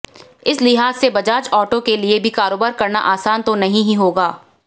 इस लिहाज से बजाज ऑटो केलिए भी कारोबार करना आसान तो नहीं ही होगा